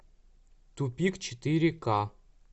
тупик четыре ка